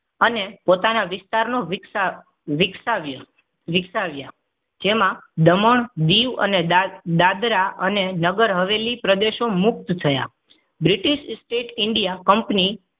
અને પોતાના વિસ્તારનો વિક્સા વિકસાવ્યા વિકસાવ્યા. જેમાં દમણ દીવ અને દાદરા અને નગર હવેલી પ્રદેશો મુક્ત થયા. British state india company